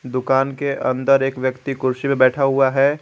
दुकान के अंदर एक व्यक्ति कुर्सी पे बैठा हुआ है।